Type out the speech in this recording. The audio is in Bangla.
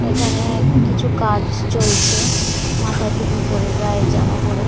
এখানে কিছু কাজ চলছে মাথায় টপি পরে গায়ে জামা পরে।